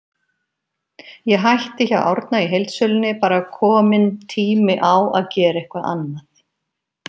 Ég hætti hjá Árna í heildsölunni, bara kominn tími á að gera eitthvað annað.